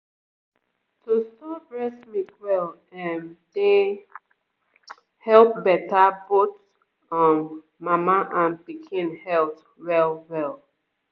to store breast milk well ehm dey help better both um mama and pikin health well-well